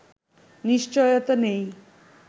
নিশ্চয়তা নেই